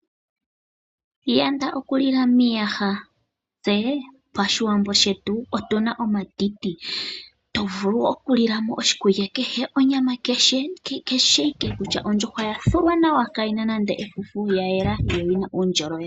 Iiyanda okulila miihaya. Tse pAshiwambo shetu otuna omatiti, to vulu okulila mo oshikulya kehe, onyama kehe kutya ondjuhwa ya thulwa nawa kayi na nande efufu ya yela, yo oyina uundjolowele.